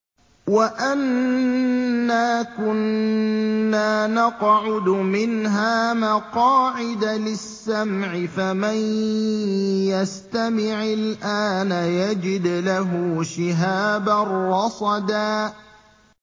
وَأَنَّا كُنَّا نَقْعُدُ مِنْهَا مَقَاعِدَ لِلسَّمْعِ ۖ فَمَن يَسْتَمِعِ الْآنَ يَجِدْ لَهُ شِهَابًا رَّصَدًا